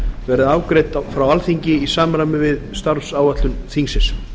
verði afgreidd frá alþingi í samræmi við starfsáætlun þingsins